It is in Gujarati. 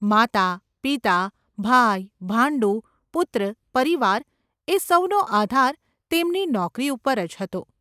માતા, પિતા, ભાઈ, ભાંડુ, પુત્ર, પરિવાર, એ સૌનો આધાર તેમની નોકરી ઉપર જ હતો.